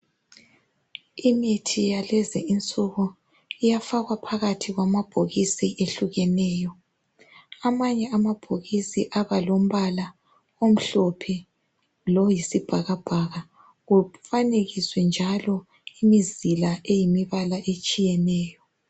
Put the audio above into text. Imithi yalezi insuku iyafakwa phakathi kwamabhokisi ehlukeneyo. Amanye amabhokisi abalombala omhlophe lo yisibhakabhaka kufanekiswe njalo imizila eyimibala etshiyeneyo.